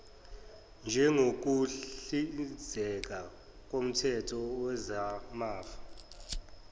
njengokuhlinzeka koomthetho wezamafa